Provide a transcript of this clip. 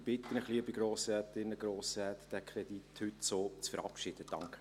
Ich bitte Sie, liebe Grossrätinnen und Grossräte, diesen Kredit heute so zu verabschieden.